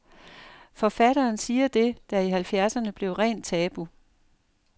Forfatteren siger det, der i halvfjerdserne blev rent tabu.